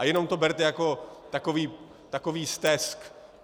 A jenom to berte jako takový stesk.